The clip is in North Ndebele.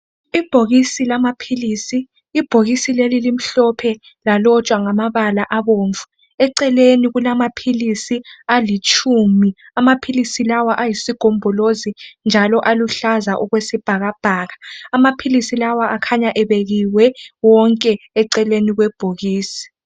Ibhokisi lamaphilisi, Ibhokisi leli limhlophe lalotshwa ngamabala abomvu. Eceleni kulamaphilisi alitshumi. Amaphilisi lawa ayisigombolozi njalo aluhlaza okwesibhakabhaka. Amaphilisi lawa akhanya ebekiwe wonke eceleni kwebhokisi.